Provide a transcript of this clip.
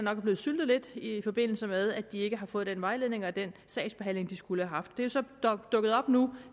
er blevet syltet lidt i forbindelse med at de ikke har fået den vejledning og den sagsbehandling de skulle have haft det er så dukket op nu